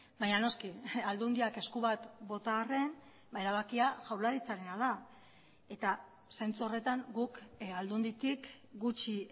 baina noski aldundiak esku bat bota arren erabakia jaurlaritzarena da eta zentzu horretan guk aldunditik gutxi